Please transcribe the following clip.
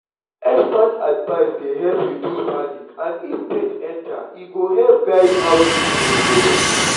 expert advice dey help reduce panic and if faith enter e go help guide how treatment go be.